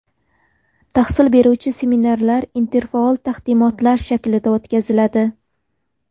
Tahsil beruvchi seminarlar interfaol taqdimotlar shaklida o‘tkaziladi.